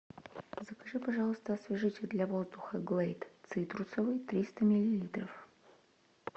закажи пожалуйста освежитель для воздуха глейд цитрусовый триста миллилитров